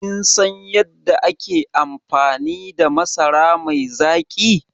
Kin san yadda ake amfani da masara mai zaƙi?